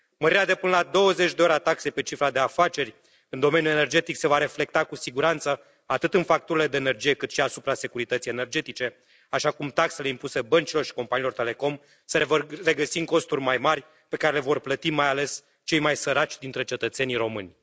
Mărirea de până la 20 de ori a taxei pe cifra de afaceri în domeniul energetic se va reflecta cu siguranță atât în facturile de energie, cât și asupra securității energetice, așa cum taxele impuse băncilor și companiilor telecom se vor regăsi în costuri mai mari, pe care le vor plăti mai ales cei mai săraci dintre cetățenii români.